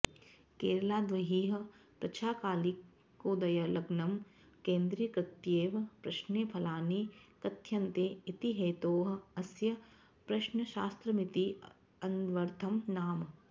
केरलाद्बहिः पृच्छाकालिकोदयलग्नं केन्द्रीकृत्यैव प्रश्ने फलानि कथ्यन्ते इति हेतोः अस्य प्रश्नशास्त्रमिति अन्वर्थं नाम